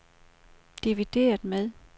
divideret med